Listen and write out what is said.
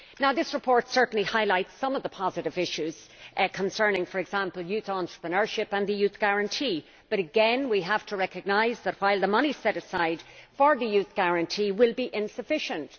This report certainly highlights some of the positive issues concerning, for example, youth entrepreneurship and the Youth Guarantee but we have to recognise that the money set aside for the Youth Guarantee will be insufficient.